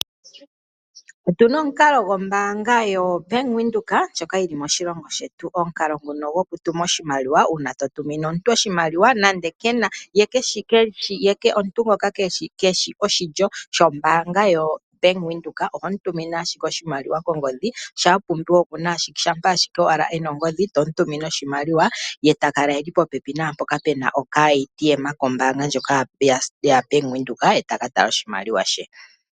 Otuna omukalo gombaanga yoBank Windhoek ndjoka yili moshilongo shetu, omukalo nguno goku tuma oshimaliwa uuna to tumine omuntu oshimaliwa nande kena, ye omuntu ngoka keshi oshilyo shombaanga yoBank Windhoek oho mu tumine ashike oshimaliwa kongodhi shi sha pumbiwa shampa ashike ena ongodhi tomu tumine oshimaliwa, ye ta kala e li popepi naampoka puna okaATM kombaanga ndjoka yaBank Windhoek, ye taka tala oshimaliwa she.